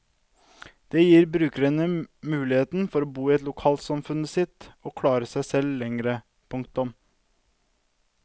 Det gir brukerne mulighet for å bo i lokalsamfunnet sitt og klare seg selv lengre. punktum